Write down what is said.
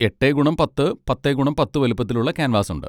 എട്ടേ ഗുണം പത്ത്, പത്തേ ഗുണം പത്ത് വലിപ്പത്തിലുള്ള ക്യാൻവാസ് ഉണ്ട്.